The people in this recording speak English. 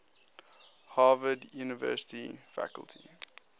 harvard university faculty